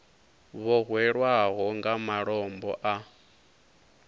vho hwelwaho nga malombo a